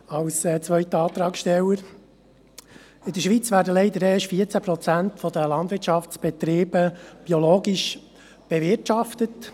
In der Schweiz werden leider erst 14 Prozent der Landwirtschaftsbetriebe biologisch bewirtschaftet.